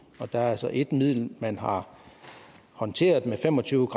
og der er altså ét middel man har håndteret med fem og tyve